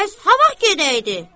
Bəs ha vaxt gedəydi?